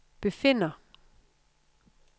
befinder